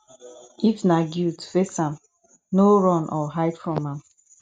if na guilt face am no run or hide from am